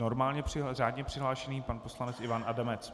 Normálně, řádně přihlášený pan poslanec Ivan Adamec.